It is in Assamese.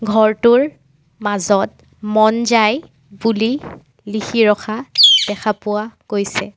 ঘৰটোৰ মাজত মন যায় বুলি লিখি ৰখা দেখা পোৱা গৈছে।